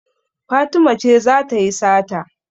Fatima ce za ta yi sata.